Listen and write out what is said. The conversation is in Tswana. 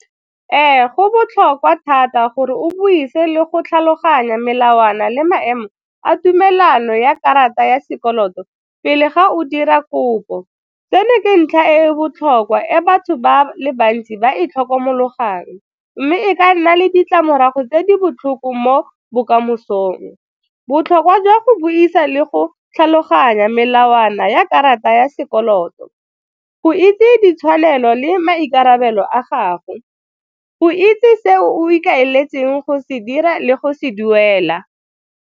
Ee, go botlhokwa thata gore o buise le go tlhaloganya melawana le maemo a tumelano ya karata ya sekoloto pele ga o dira kopo. Tseno ke ntlha e botlhokwa e batho ba le bantsi ba itlhokomolosang mme e ka nna le ditlamorago tse di botlhoko mo bokamosong. Botlhokwa jwa go buisa le go tlhaloganya melawana ya karata ya sekoloto, go itse ditshwanelo le maikarabelo a gago, go itse se o ikaeletseng go se dira le go se duela.